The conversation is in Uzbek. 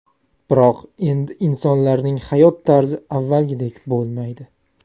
Biroq endi insonlarning hayot tarzi avvalgidek bo‘lmaydi.